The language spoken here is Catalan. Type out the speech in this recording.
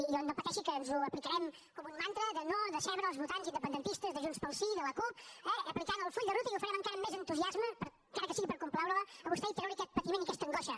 i no pateixi que ens ho aplicarem com un mantra de no decebre els votants independentistes de junts pel sí i de la cup eh aplicant el full de ruta i ho farem encara amb més entusiasme encara que sigui per complaure la a vostè i treure li aquest patiment i aquesta angoixa